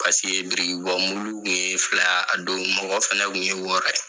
Paseke birikibɔmulu kun ye fila ye a don, mɔgɔ fɛnɛ tun ye wɔɔrɔ ye.